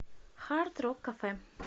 хард рок кафе